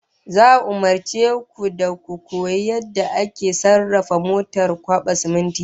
Za'a umurce ku da ku koyi yadda ake sarrafa motar kwaba siminti